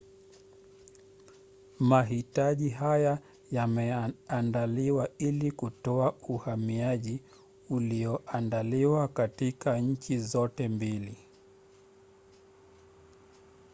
mahitaji haya yameandaliwa ili kutoa uhamiaji ulioandaliwa kati ya nchi zote mbili